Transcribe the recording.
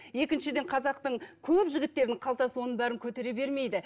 екіншіден қазақтың көп жігіттерінің қалтасы оның бәрін көтере бермейді